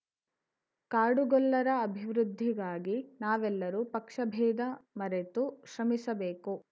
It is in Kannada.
ಕಾಡುಗೊಲ್ಲರ ಅಭಿವೃದ್ಧಿಗಾಗಿ ನಾವೆಲ್ಲರೂ ಪಕ್ಷ ಭೇದ ಮರೆತು ಶ್ರಮಿಸಬೇಕು